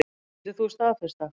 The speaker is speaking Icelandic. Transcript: Getur þú staðfest það?